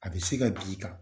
A bɛ se ka b'i kan